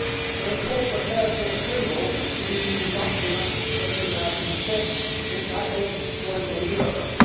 The report refers with approval to the EU document of 2006 entitled Global Europe'.